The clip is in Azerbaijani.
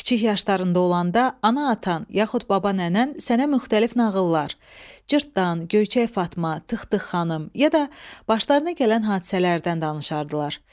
Kiçik yaşlarında olanda ana-atan, yaxud baba-nənən sənə müxtəlif nağıllar, Cırtdan, Göyçək Fatma, Tıq-tıq xanım, ya da başlarına gələn hadisələrdən danışardılar.